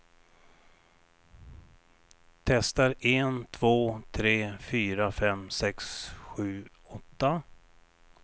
Testar en två tre fyra fem sex sju åtta.